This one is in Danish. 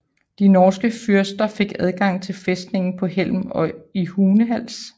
De norske fyrster fik adgang til fæstningerne på Hjelm og i Hunehals